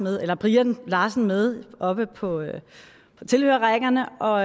har brian larsen med oppe på tilhørerrækkerne og